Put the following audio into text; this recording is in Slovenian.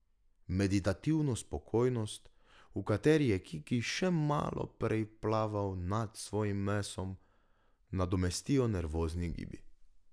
Meditativno spokojnost, v kateri je Kiki še malo prej plaval nad svojim mesom, nadomestijo nervozni gibi.